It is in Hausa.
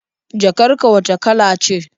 Jakar ka wacce kala ce?